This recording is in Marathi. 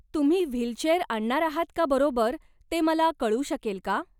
तुम्ही व्हीलचेअर आणणार आहात का बरोबर ते मला कळू शकेल का?